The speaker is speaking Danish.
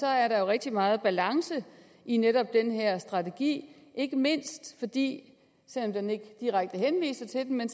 er der jo rigtig meget balance i netop den her strategi ikke mindst fordi selv om den ikke direkte henviser til den den